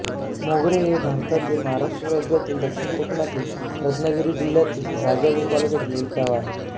मोगरे हे भारतातील महाराष्ट्र राज्यातील दक्षिण कोकणातील रत्नागिरी जिल्ह्यातील राजापूर तालुक्यातील एक गाव आहे